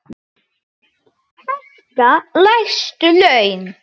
Hækka lægstu laun.